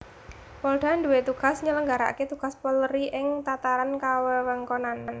Polda duwé tugas nyelenggarakaké tugas Polri ing tataran kawewengkonan